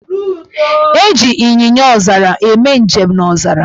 Eji Ịnyịnyaọzara eme njem n' ọzara.